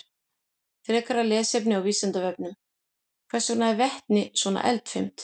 Frekara lesefni á Vísindavefnum: Hvers vegna er vetni svona eldfimt?